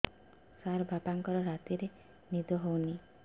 ସାର ବାପାଙ୍କର ରାତିରେ ନିଦ ହଉନି